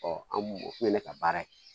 an m'o o ye ka baara ye